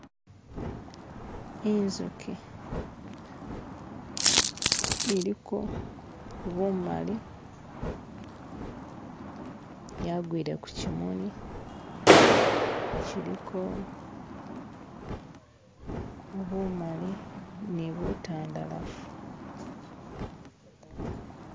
inzuki iliko bumali yagwile kukyimuli kyiliko bumali ni butandalafu